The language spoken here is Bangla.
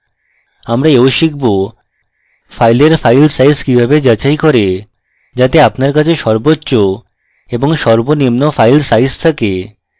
আমরা we শিখব file file সাইজ কিভাবে যাচাই করে যাতে আপনার কাছে সর্বোচ্চ এবং সর্বনিম্ন file সাইজ থাকে